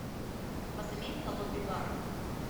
у вас имеется лобби бар